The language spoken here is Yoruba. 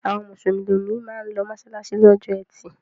Àwọn Mùsùlùmí máa ń lọ mọ́ṣáláṣí lọ́jọ́ ẹtì.